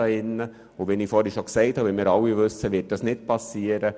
Wie wir aber alle wissen, wird das nicht geschehen.